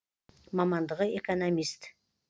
мамандығы экономист